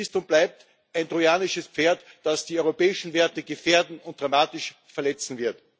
CETA ist und bleibt ein trojanisches Pferd, das die europäischen Werte gefährden und dramatisch verletzen wird.